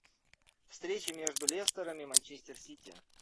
встреча между лестером и манчестер сити